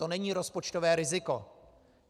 To není rozpočtové riziko.